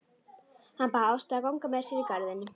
Hann bað Ástu að ganga með sér í garðinn.